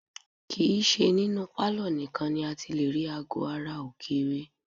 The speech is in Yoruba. Kì í ṣe ninú pálọ̀ nìkan ni a ti lè rí aago ara ògiri